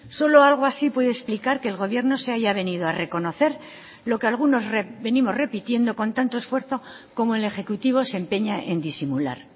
solo algo así puede explicar que el gobierno se haya venido a reconocer lo que algunos venimos repitiendo con tanto esfuerzo cómo el ejecutivo se empeña en disimular